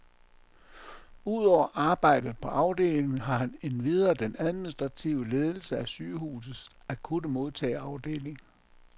Udover arbejdet på afdelingen har han endvidere den administrative ledelse af sygehusets akutte modtageafdeling.